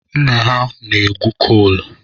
Nna ha na-egwu kol.